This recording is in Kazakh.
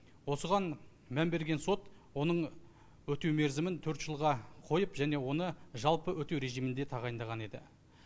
осыған мән берген сот оның өтеу мерзімін төрт жылға қойып және оны жалпы өтеу режимінде тағайындаған еді